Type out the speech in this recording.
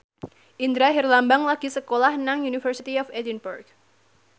Indra Herlambang lagi sekolah nang University of Edinburgh